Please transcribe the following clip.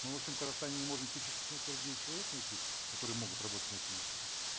мы во всем казахстане не можем тысячу семьсот сорок девять человек найти которые могут работать на этих местах